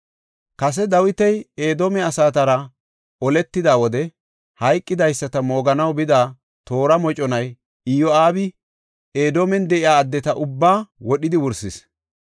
Kase Dawiti Edoome asatara oletida wode hayqidaysata mooganaw bida toora moconay Iyo7aabi Edoomen de7iya addeta ubbaa wodhidi wursis.